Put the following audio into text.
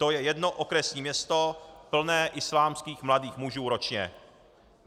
To je jedno okresní město plné islámských mladých mužů ročně.